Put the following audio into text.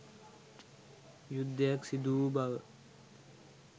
යුද්ධයක් සිදුවූ බව